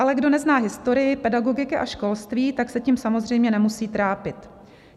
Ale kdo nezná historii pedagogiky a školství, tak se tím samozřejmě nemusí trápit.